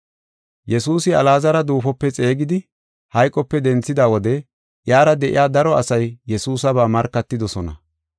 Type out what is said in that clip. Yesuusi Alaazara duufope xeegidi, hayqope denthida wode iyara de7iya daro asay Yesuusaba markatidosona.